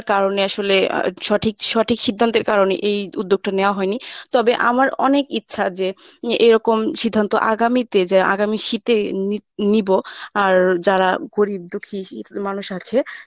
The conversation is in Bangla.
কারণে আসলে আহ সঠিক সঠিক সিদ্ধান্তের কারণে এই উদ্যোগটা নেওয়া হয়নি তবে আমার অনেক ইচ্ছা যে এ~ এরকম সিদ্ধান্ত আগামীতে যে আগামী শীতে নিত~ নিবো আর যারা গরীব ‍দুঃখী মানুষ আছে